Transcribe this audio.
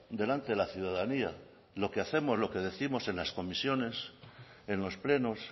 delante de la ciudadanía lo que hacemos lo que décimos en las comisiones en los plenos